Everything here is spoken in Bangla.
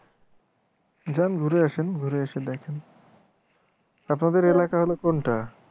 যান ঘুরে আসেন ঘুরে এসে দেখেন আপনাদের এলাকা হল কোনটা